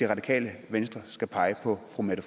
radikale venstre skal pege på fru mette